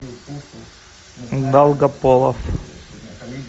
долгополов